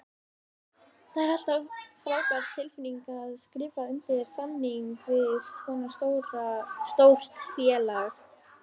Það er alltaf frábær tilfinning að skrifa undir samning við svona stórt félag.